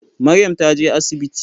Maryam ta je asibiti.